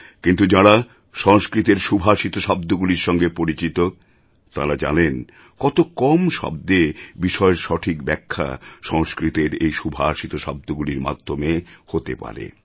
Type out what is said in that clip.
কিন্তু যাঁরা সংস্কৃতের সুভাষিত শব্দগুলির সঙ্গে পরিচিত তাঁরা জানেন কত কম শব্দে বিষয়ের সঠিক ব্যাখ্যা সংস্কৃতের এই সুভাষিত শব্দগুলির মাধ্যমে হতে পারে